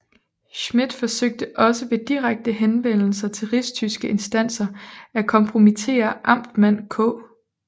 Schmidt forsøgte også ved direkte henvendelser til rigstyske instanser at kompromittere amtmand K